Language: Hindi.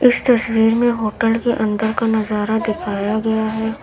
इस तस्वीर में होटल के अंदर का नजारा दिखाया गया है।